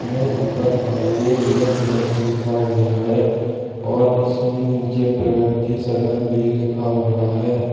मैं ऊपर भारतीय रिजर्व बैंक लिखा हुआ है और इसमें नीचे प्रगति सदन भी लिखा हुआ है।